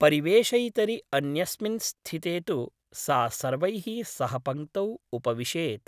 परिवेषयितरि अन्यस्मिन् स्थिते तु सा सर्वैः सह पङ्क्तौ उपविशेत् ।